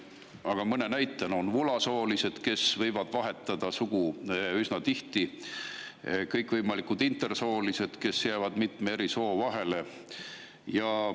Aga mõne näite toon: on vulasoolised, kes võivad vahetada sugu üsna tihti, ja on kõikvõimalikud intersoolised, kes jäävad mitme eri soo vahele.